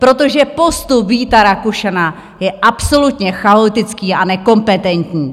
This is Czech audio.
Protože postup Víta Rakušana je absolutně chaotický a nekompetentní!